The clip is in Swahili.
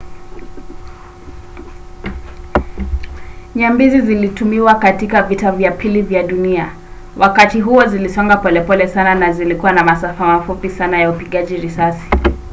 nyambizi zilitumiwa katika vita vya pili vya dunia. wakati huo zilisonga polepole sana na zilikuwa na masafa mafupi sana ya upigaji risasi